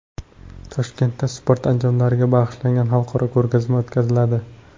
Toshkentda sport anjomlariga bag‘ishlangan xalqaro ko‘rgazma o‘tkaziladi.